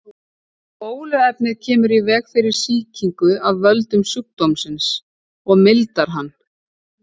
Bóluefnið kemur í veg fyrir sýkingu af völdum sjúkdómsins og mildar hann.